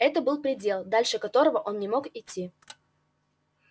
это был предел дальше которого он не мог идти